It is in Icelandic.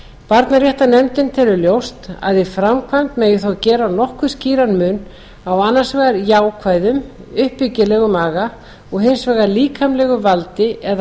barnaréttarnefndin telur ljóst að í framkvæmd megi þó gera nokkuð skýran mun á annars vegar jákvæðum uppbyggilegum aga og hins vegar líkamlegu valdi eða